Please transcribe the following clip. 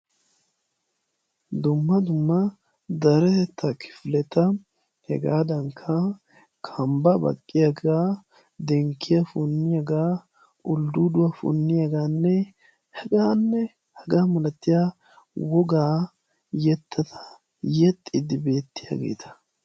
Dumma dumma deretetta kifeleta hegaadankka kambba baqqiyaagaa dinkkiya punniyaagaa uldduuduwaa punniyaagaanne hegaanne hegaa malattiya wogaa yettata yexxidi beettiyageeta.